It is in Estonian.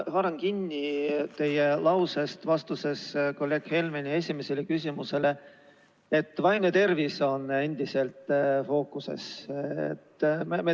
Haaran kinni teie lausest, milles te ütlesite kolleeg Helmeni esimesele küsimusele vastates, et vaimne tervis on endiselt fookuses.